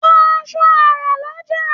Ra aṣọ àrán lọ́jà.